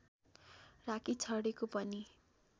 राखिछाडेको पनि